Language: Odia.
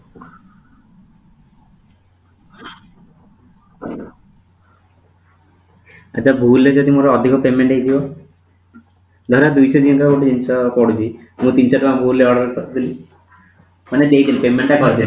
ଆଛା ଭୁଲ ରେ ଯଦି ମୋର ଅଧିକ payment ହେଇଥିବ ଧର ଦୁଇ ତିନି ଥର ଗୋଟେ ଜିନିଷ କରିଛି ମୁଁ ତିନିସ ଟଙ୍କା ଭୁଲ ରେ order କରିଦେଲି ମାନେ ସେଇଥିରୁ payment କରିଦେଲି